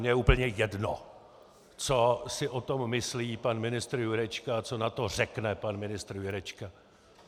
Mně je úplně jedno, co si o tom myslí pan ministr Jurečka a co na to řekne pan ministr Jurečka.